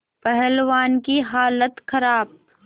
पहलवान की हालत खराब